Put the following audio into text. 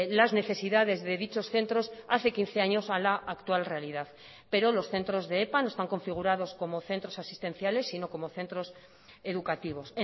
las necesidades de dichos centros hace quince años a la actual realidad pero los centros de epa no están configurados como centros asistenciales sino como centros educativos